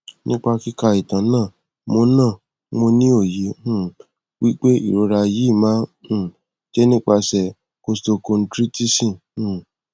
nipa kika itan na mo na mo ni oye um wi pe irora yi ma um je nipase costochindritisọn um